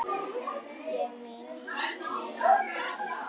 Ég minnist vinar í raun.